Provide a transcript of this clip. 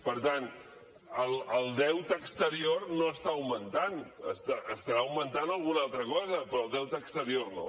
per tant el deute exterior no està augmentant deu estar augmentat una altra cosa però el deute exterior no